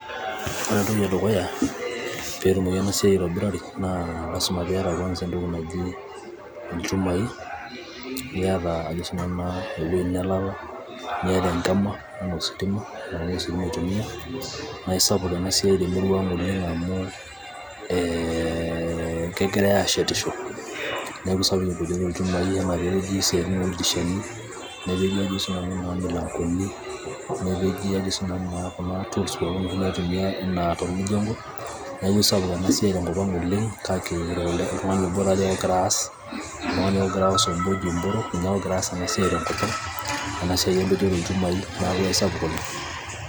ore entoki edukuya peetumoki ena siai aitobirari naa lasima piata kwanza entoki naji ilchumai niata ajo na sinanu ewueji nelala niata enkima enaa ositima amu ositima eitumia naa isapuk ena siai temurua ang oleng amu ee kegiray aashetisho neeku isapuk empejoto oolchumai enaa peepeji isiaitin ooldirishani nepeji ajo siinanu naa milangoni nepeji ajo sinanu naa tools pookin oshi naiotumiae enaa tor mjengo neeku aisapuk ena siai oleng kake oltung'ani obo taa dii ake ogira aas oltung'ani ake ogira aas oji mboro ninye ake ogira aas ena siai tenkop ang ena siai empejoto olchumai niaku aisapuk oleng.